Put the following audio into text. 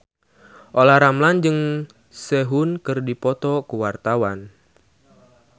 Olla Ramlan jeung Sehun keur dipoto ku wartawan